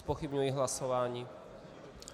Zpochybňuji hlasování.